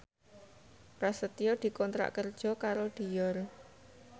Prasetyo dikontrak kerja karo Dior